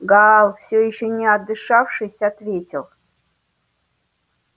гаал всё ещё не отдышавшись ответил